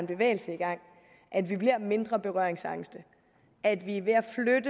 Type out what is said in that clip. bevægelse i gang at vi bliver mindre berøringsangste at vi er ved